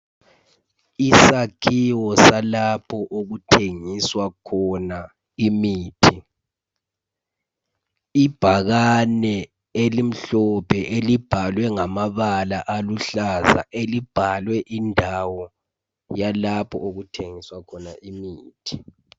Isakhiwo salapho okuthengiswa khona imithi ibhakane elimhlophe elibhalwe ngamabala aluhlaza elibhalwe indawo yalapho okuthengiswa khona imithi.